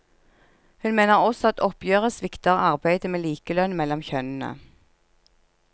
Hun mener også at oppgjøret svikter arbeidet med likelønn mellom kjønnene.